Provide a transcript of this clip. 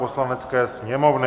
Poslanecké sněmovny